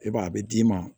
E b'a a bɛ d'i ma